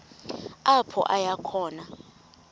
apho aya khona